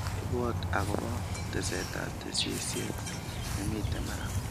Ibwot akobo tesetab tesisyit nemiten barak